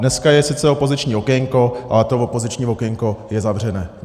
Dneska je sice opoziční okénko, ale to opoziční okénko je zavřené.